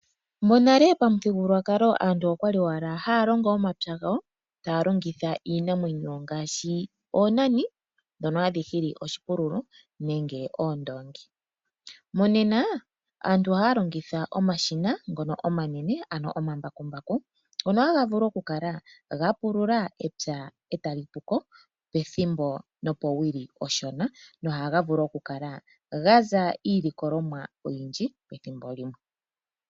Monale pamuthigululwakalo aantu oya li owala haya longo omapya gawo taya longitha iinamwenyo ngaashi oonani ndhono hadhi nana oshipululo nenge oondoongi. Monena aantu ohaya longitha omashina ngono omanene ano omambakumbaku ngono haga vulu okukala ga pulula epya e ta li pu ko pethimbo nopowili onshona nohaga vulu okukala ga za iilikolomwa oyindji pethimbo limwe.